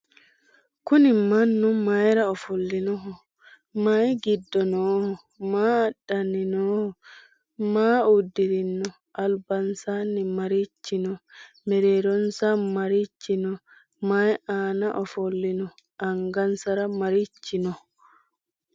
kunni manu mayira oofolinoho? mayi giddo nooho? maa adanni nohoho? maa udirino? albansanni marichi noo? meereronsa marichi noo? mayi anna ofolino angansara marchi noo